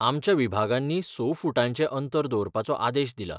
आमच्या विभागांनी स फुटांचें अंतर दवरपाचो आदेश दिला.